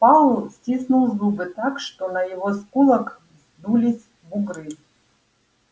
пауэлл стиснул зубы так что на его скулах вздулись бугры